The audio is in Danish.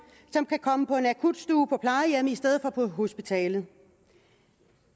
som kan komme på en akutstue på plejehjemmet i stedet for på hospitalet